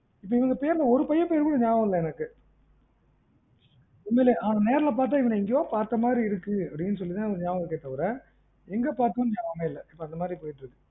இது இந்த பேருல ஒரு பையன் பேரு கூட நியாபகம் இல்ல எனக்கு. உண்மையிலேயே அவன நேர்ல பாத்தா அவன எங்கயோ பாத்த மாதிரி இருக்கு அப்டீன்னு சொல்லி தான் எனக்கு நியாபகம் இருக்கே தவிர எங்க பாத்தோன்னு நியாபகமே இல்ல, இப்போ அந்த மாதிரி போய்ட்டு இருக்கு.